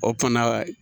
O fana